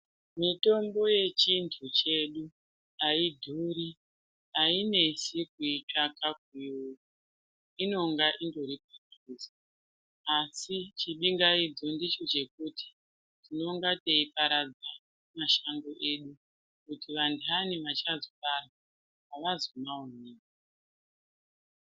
Mitombo yechintu chedu haidhuri, hainesi kuitsvaka kuiona, inonga indori padhuze. Asi chibingaidzo ndicho chekuti tinenga teiparadza mashango edu ngekuti vantani vachazobarwa avazomaoni.